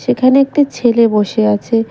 সেখানে একটি ছেলে বসে আছে।